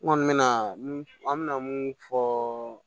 N kɔni mena mun an bɛna mun fɔ